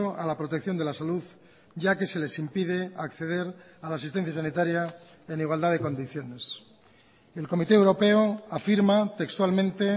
a la protección de la salud ya que se les impide acceder a la asistencia sanitaria en igualdad de condiciones el comité europeo afirma textualmente